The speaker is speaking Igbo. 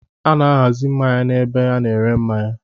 A na-ahazi mmanya n'ebe a na-ere mmanya.